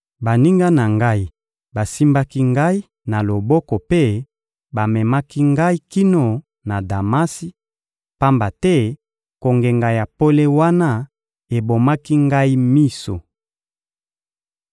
Baninga na ngai basimbaki ngai na loboko mpe bamemaki ngai kino na Damasi, pamba te kongenga ya pole wana ebomaki ngai miso.